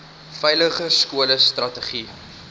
veiliger skole strategie